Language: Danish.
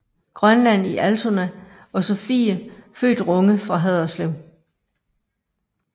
Grønland i Altona og Sophie født Runge fra Haderslev